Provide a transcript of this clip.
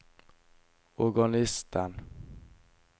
organisten